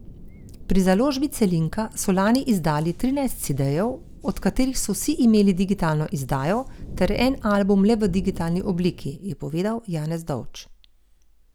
Pri založbi Celinka so lani izdali trinajst cedejev, od katerih so vsi imeli digitalno izdajo, ter en album le v digitalni obliki, je povedal Janez Dovč.